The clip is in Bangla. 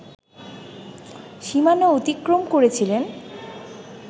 সীমানা অতিক্রম করেছিলেন